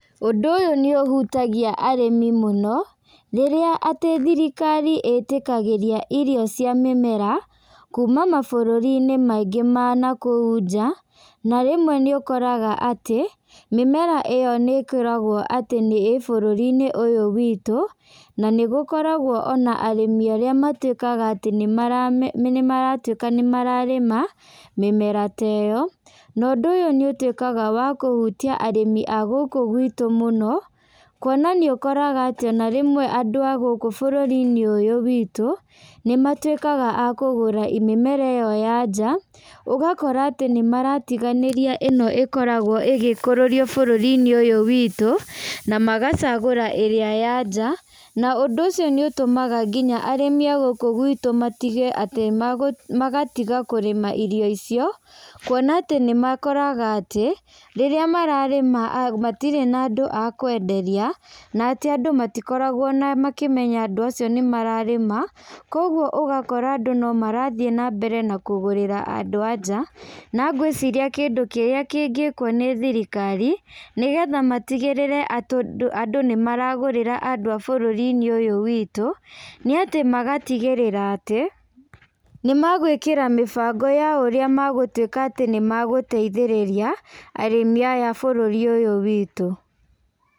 Ũndũ ũyũ nĩ ũhutagia arĩmi mũno, rĩrĩa atĩ thirikari ĩtĩkagĩria irio cia mĩmera, kuuma mabũrũri-inĩ maingĩ manakũu nja, na rĩmwe nĩ ũkoraga atĩ, mĩmera ĩyo nĩ ĩkoragwo atĩ nĩ ĩ bũrũri-inĩ ũyũ witũ, na nĩ gũkoragwo ona arĩmi arĩa matuĩkaga atĩ nĩ marame nĩ maratuĩka atĩ nĩ mararĩma, mĩmera ta ĩyo, na ũndũ ũyũ nĩ ũtuĩkaga wa kũhutia arĩmi agũkũ gwĩtũ mũno, kuona nĩ ũkoraga atĩ ona rĩmwe, andũ agũkũ bũrũri-inĩ ũyũ witũ, nĩ matuĩkaga a kũgũra mĩmera ĩyo ya nja, ũgakora atĩ nĩ maratiganĩria ĩno ĩkoragwo ĩgĩkũrũrio bũrũri-inĩ ũyũ witũ, na magacagũra ĩrĩa ya nja, na ũndũ ũcio nĩ ũtũmaga nginya arĩmi agũkũ gwĩtũ matige atĩ megũ magatiga kũrĩma irio icio, kuona atĩ nĩ makoraga atĩ, rĩrĩa mararĩma a matirĩ na andũ akwenderia, na atĩ andũ matikoragwo na makĩmenya andũ acio nĩ mararĩma, kwoguo ũgakora andũ no marathiĩ na mbere na kũgũrĩra andũ a nja, na ngwĩciria kĩndũ kĩrĩa kĩngĩkwo nĩ thirikari, nĩ getha matigĩrĩre atũ andũ nĩ magũrĩra andũ a bũrũrinĩ ũyũ witũ, nĩ atĩ magatigĩrĩra atĩ, nĩ megwĩkĩra mĩbango ya ũrĩa megũtuĩka atĩ nĩ megũteithĩrĩria arĩmi aya a bũrũri ũyũ witũ.